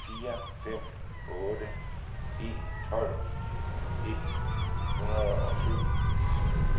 fire fem otte en tolv et hundrede og syv